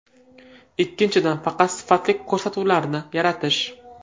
Ikkinchidan, faqat sifatli ko‘rsatuvlarni yaratish.